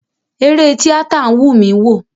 Eré tíátà wùn mi wò.